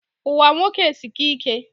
Ụwa nwoke esika ike